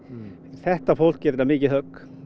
þetta fólk er þetta mikið högg